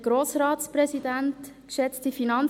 – Das hat sie nun.